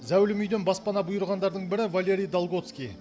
зәулім үйден баспана бұйырғандардың бірі валерий долготский